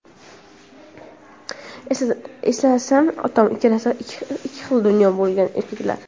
Eslasam, otam ikkalasi ikki xil dunyo bo‘lgan ekanlar.